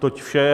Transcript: Toť vše.